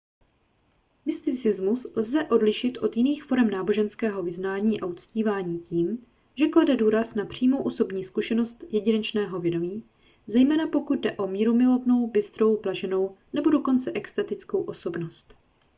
mysticismus lze odlišit od jiných forem náboženského vyznání a uctívání tím že klade důraz na přímou osobní zkušenost jedinečného vědomí zejména pokud jde o mírumilovnou bystrou blaženou nebo dokonce extatickou osobnost